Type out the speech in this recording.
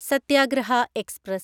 Satyagraha express